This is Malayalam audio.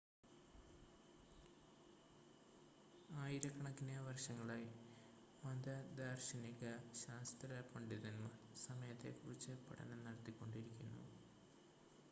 ആയിരക്കണക്കിന് വർഷങ്ങളായി മത ദാർശനിക ശാസ്ത്ര പണ്ഡിതന്മാർ സമയത്തെ കുറിച്ച് പഠനം നടത്തിക്കൊണ്ടിരിക്കുന്നു